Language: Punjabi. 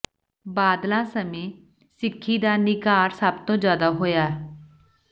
ਬਾਦਲਾਂ ਸਮੇਂ ਸਿੱਖੀ ਦਾ ਨਿਘਾਰ ਸੱਭ ਤੋਂ ਜ਼ਿਆਦਾ ਹੋਇਆ